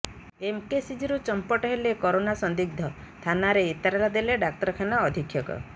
ଏମ୍କେସିଜିରୁ ଚମ୍ପଟ ହେଲେ କରୋନା ସନ୍ଦିଗ୍ଧ ଥାନାରେ ଏତଲା ଦେଲେ ଡାକ୍ତରଖାନା ଅଧୀକ୍ଷକ